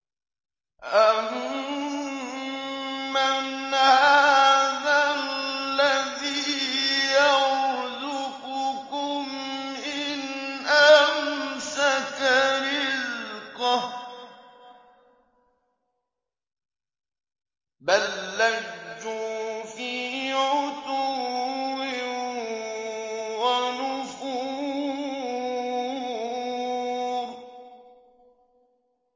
أَمَّنْ هَٰذَا الَّذِي يَرْزُقُكُمْ إِنْ أَمْسَكَ رِزْقَهُ ۚ بَل لَّجُّوا فِي عُتُوٍّ وَنُفُورٍ